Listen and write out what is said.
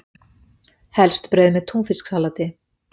Helst brauð með túnfisksalati.